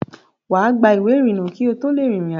Wà á gba ìwé ìrìnnà kí o tó lè rin ìrìn àjò.